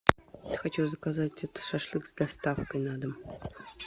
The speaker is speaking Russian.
хочу заказать шашлык с доставкой на дом